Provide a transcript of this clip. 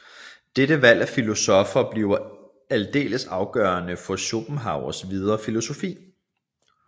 Dette valg af filosoffer bliver aldeles afgørende for Schopenhauers videre filosofi